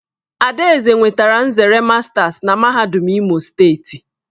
Adaeze nwetara nzere masters na MAHADUM IMO STEETI.